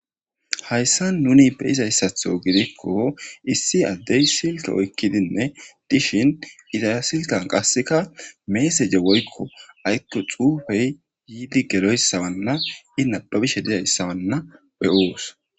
hayssa nuni be izayssatho gidikko issi addey silto oykkidinne dishin iza silkan qasseka meeseje woykko aykko xuufey yiidi geloyssawanna inapabishe dizayssawanna be7oos